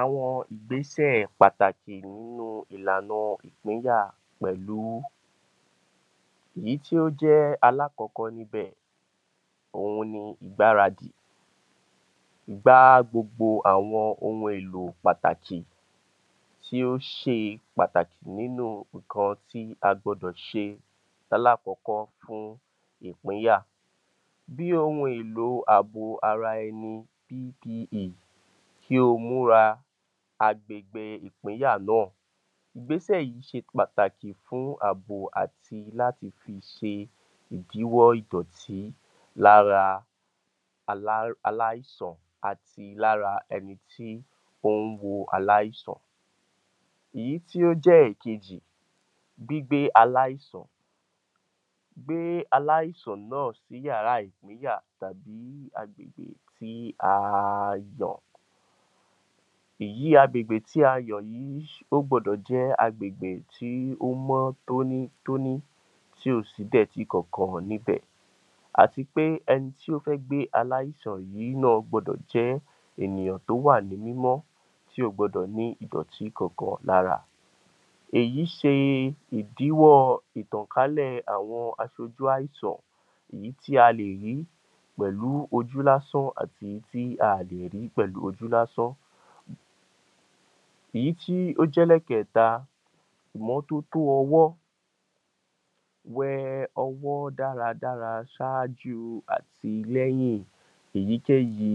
Àwọn ìgbésẹ̀ pàtàkì nínú ìlànà ìpínyà pẹ̀lú èyí tí ó jẹ́ alákọ̀ọ́kọ́ níbẹ̀, òhun ni ìgbáradì, gbá gbogbo àwọn ohun èlò pàtàkì tí ó ṣe pàtàkì nínú nǹkan tí a gbọdọ̀ ṣe lálákọ̀ọ́kọ́ ni ìpínyà bí ohun èlò ara àbò ẹni PPE, kí ó múra agbègbè ìpínyà náà. Ìgbésẹ̀ yìí ṣe pàtàkì fún àbò àti láti fi ṣe ìdíwọ́ ìdọ̀tì lára aláìsàn àti lára ẹni tí ó ń wo aláìsàn. Ìyí tí ó jẹ́ ìkejì, gbígbé aláìsàn, gbé aláìsàn náà sí ìyàrá ìpínyà tàbí agbègbè tí a a yàn, èyí agbègbè tí a yàn yìí, ó gbọdọ̀ jẹ́ agbègbè tí ó mọ́ tónítóní tí ò sí ìdẹ̀tí kankan níbẹ̀ àti pé ẹni tí ó fẹ́ gbé aláìsàn yìí gbúdọ̀ jẹ́ ènìyàn tó wà ní mímọ́, tí ò gbọdọ̀ ní ìdọ̀tì kankan lára, èyí ṣe ìdíwọ́ ìtànkálẹ̀ àwọn aṣojú àìsàn èyí tí a lè rí pẹ̀lú ojú lásán àti èyí tí a kò lè rí pẹ̀lú ojú lásán. Ìyí tí ó jẹ́ ẹlẹ́ẹ̀kẹ́ta, ìmọ́tótó ọwọ́, wẹ ọwọ́ dáradára ṣáájú àti lẹ́yìn èyíkéyìí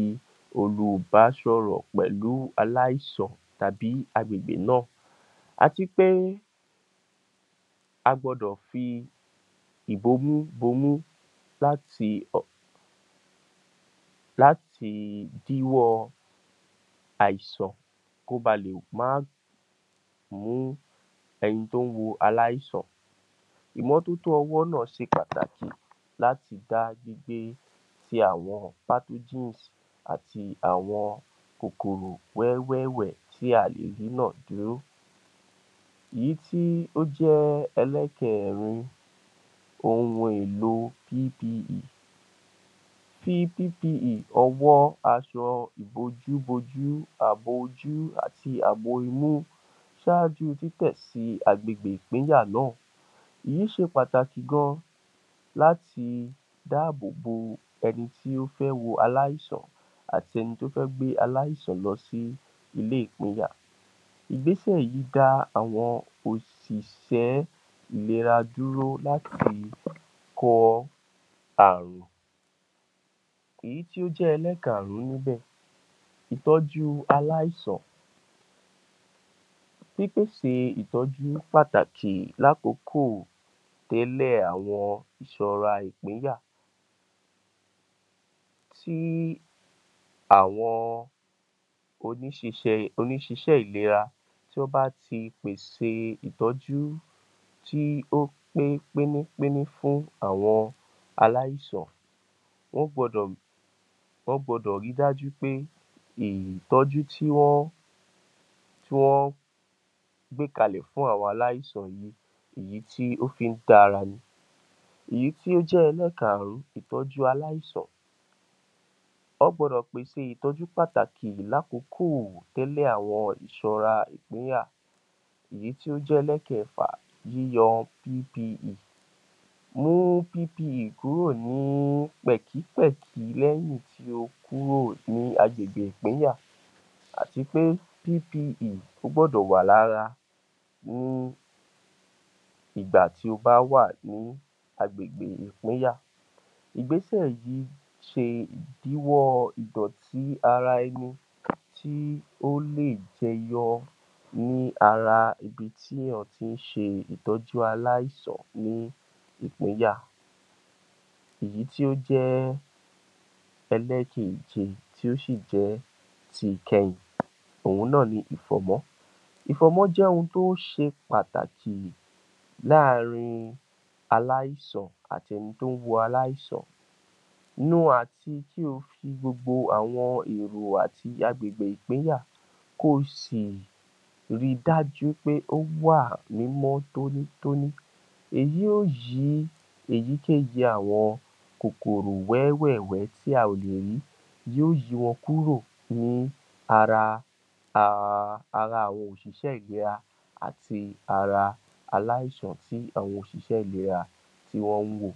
olùbásọ̀rọ̀ pẹ̀lú aláìsàn tàbí agbègbè náà àti pé a gbọdọ̀ fi ìbomú bomú láti díwọ́ àìsàn, kò ba lè máa mú ẹni tó ń wo aláìsàn, ìmọ́tótó ọwọ́ náà ṣe pàtàkì láti dá gbígbé ti àwọn àti àwọn kòkòrò wẹ́wẹ̀wẹ́ tí a lè rí ná dúró. Ìyí tí ó jẹ́ ẹlẹ́kẹẹ̀rin ohun èlò PPE, fi PPE ọwọ́, aṣọ ìbojú bojú, àbò ojú àti àbò imú, ṣáájú títẹ̀ sí agbègbè ìpínyà, èyí ṣe pàtàkì gan-an láti dáàbò bo ẹni tó fẹ́ wo aláìsàn àti ẹni tó fẹ́ gbé aláìsàn lọ sí ilé ìpínyà. Ìgbésẹ̀ yìí dá àwọn òṣìṣẹ́ ìlera dúró láti kọ ààrùn. Èyí tí ó jẹ́ ẹlẹ́karùn-ún níbẹ̀, ìtọ́jú aláìsàn, pípèsè ìtọ́jú aláìsàn, pípèsè ìtọ́jú pàtàkì tẹ́lẹ̀ àwọn ìṣọra ìpínyà sí àwọn oníṣíṣẹ́ ìlera tó bá ti pèsè ìtọ́jú tí ó pé pínípíní fún àwọn aláìsàn wọ́n gbọdọ̀ ri dájú wí pé ìtọ́jú tí wọ́n gbé kalẹ̀ yìí, ìyí tí ó fi ń tara ni. Ìyí tí ó jẹ́ ẹlẹ́karùn-ún ìtọ́jú aláìsàn, wọ́n gbọdọ̀ pèsè ìtọ́jú pàtàkì tẹ́lẹ̀ àwọn ìṣọ́ra ìpínyà. Èyí tí ó jẹ́ ẹlẹ́kẹ̀ẹfà, yíyọ PPE, mú PPE kúrò ní pẹ̀kípẹ̀kí lẹ́yìn tí ó kúrò ní agbègbè ìpínyà àti pé PPE ó gbọ́dọ̀ wà lára ní ìgbà tí ó bá wà ní agbègbè ìpínyà, ìgbésẹ̀ yìí ṣe ìdíwọ́ ìdọ̀tì ara ẹni tí ó lè jẹyọ ní ara ibi tí èèyàn tí ń ṣe ìtọ́jú aláìsàn ní ìpínyà. Èyí tí ó jẹ́ ẹlẹ́ẹ̀kèje tí ó sì jẹ́ ti ìkẹyìn, òhun náà ni ìfọ̀mọ́, ìfọ̀mọ́ jẹ́ ohun tó ṣe pàtàkì láàárín aláìsàn àti ẹni tó ń wo aláìsàn, nu àti kí ó fi gbogbo àwọn èrò àti agbègbè ìpínyà kò sì ri dájú pé ó wà ní mímọ́ tónítóní èyí yóò yí èyíkéyìí àwọn kòkòrò wẹ́wẹ̀wẹ́ tí a kò lè rí yóò yí wọn kúrò ní ara a a a àwọn òṣìṣẹ́ ìlera àti ara àwọn tí àwọn òṣìṣẹ́ ìlera tí wọ́n ń wò.